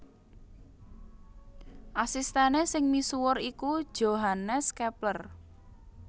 Asistèné sing misuwur iku Johannes Kepler